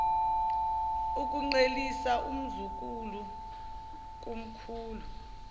ukuqhelisa umzukulu kumkhulu